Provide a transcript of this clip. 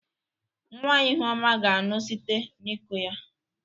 Nwa ihuoma ga-aṅụ site n'iko ya.